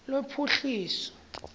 lophuhliso